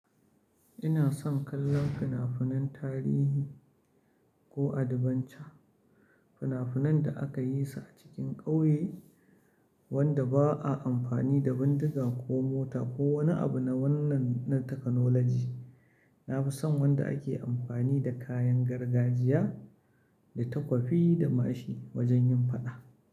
Ina son kallon fina-finan tarihi ko adventure, fina-finan da aka yi su a cikin ƙauye wanda ba a amfani da bindiga ko mota ko wani abu na wannan na taknolaji. Na fi son wanda ake amfani da kayan gargajiya, da takwafi da mashi wajen yin faɗa.